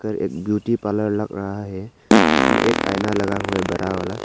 एक beauty parlour लग रहा है जिसमें एक आईना लगा हुआ है बड़ा वाला।